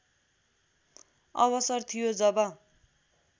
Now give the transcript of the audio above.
अवसर थियो जब